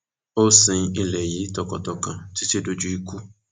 ó sin ilé yìí tọkàntọkàn títí dójú ikú